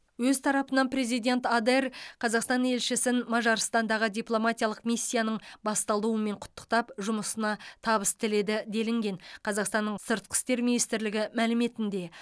өз тарапынан президент адер қазақстан елшісін мажарстандағы дипломатиялық миссияның басталуымен құттықтап жұмысына табыс тіледі делінген қазақстанның сыртқы істер министрлігі мәліметінде